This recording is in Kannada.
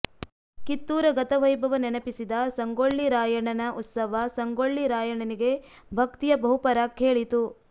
ಕಿತ್ತೂರ ಗತ ವೈಭವ ನೆನಪಿಸಿದ ಸಂಗೊಳ್ಳಿ ರಾಯಣ್ಣನ ಉತ್ಸವ ಸಂಗೊಳ್ಳಿ ರಾಯಣ್ಣನಿಗೆ ಭಕ್ತಿಯ ಬಹುಪರಾಕ್ ಹೇಳಿತು